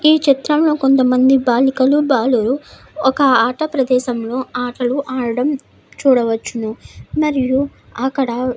ఈ చిత్రంలో కొంతమంది బాలికలు బాలులు ఒక ఆట ప్రదేశములో ఆటలు ఆడడం చూడవచ్చును మరియు అకడ --